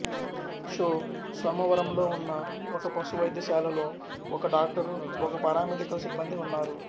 షొ సోమవరంలో ఉన్న ఒక పశు వైద్యశాలలో ఒక డాక్టరు ఒకరు పారామెడికల్ సిబ్బందీ ఉన్నారు